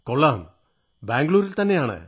കൊള്ളാം ബംഗളൂരുവിൽതന്നെയാണ്